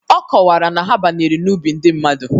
Ọ kọwara na ha banyere n'ubi ndị mmadu